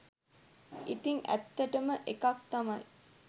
ඉතින් ඇත්තටම එකක් තමයි